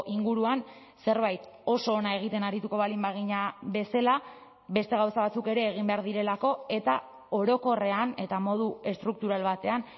inguruan zerbait oso ona egiten arituko baldin bagina bezala beste gauza batzuk ere egin behar direlako eta orokorrean eta modu estruktural batean